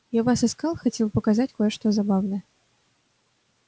я вас искал хотел показать кое-что забавное